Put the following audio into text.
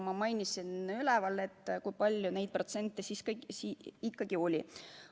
Ma täna ka juba mainisin, kui palju neid protsentuaalselt ikkagi oli.